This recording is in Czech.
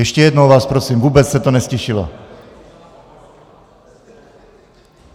Ještě jednou vás prosím, vůbec se to neztišilo.